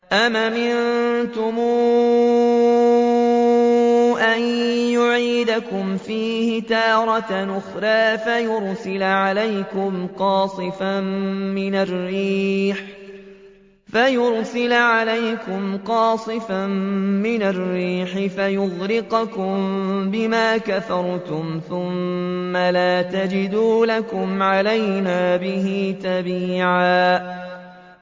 أَمْ أَمِنتُمْ أَن يُعِيدَكُمْ فِيهِ تَارَةً أُخْرَىٰ فَيُرْسِلَ عَلَيْكُمْ قَاصِفًا مِّنَ الرِّيحِ فَيُغْرِقَكُم بِمَا كَفَرْتُمْ ۙ ثُمَّ لَا تَجِدُوا لَكُمْ عَلَيْنَا بِهِ تَبِيعًا